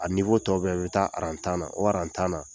A niwɔ tɔ bɛɛ bɛ taa aran tan na o aran tan na